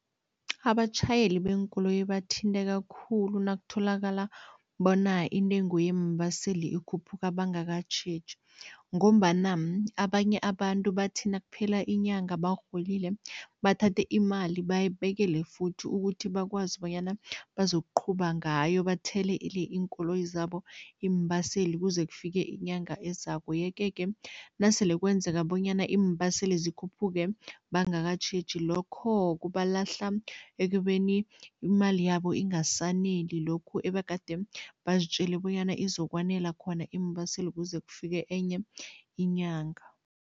Abatjhayeli beenkoloyi bathinteka khulu nakutholakala bona intengo yeembaseli ikhuphuka bangakatjheji ngombana abanye abantu bathi nakuphela inyanga barholile, bathathe imali bayibekele futhi ukuthi bakwazi bonyana bazokuqhuba ngayo bathelele iinkoloyi zabo iimbaseli kuze kufike inyanga ezako yeke-ke nasele kwenzeka bonyana iimbaseli zikhuphuke bangavakatjheji, lokho kubalahla ekubeni imali yabo ingasaneli lokhu ebegade bazitjele bonyana izokwanela khona iimbaseli kuze kufike enye inyanga.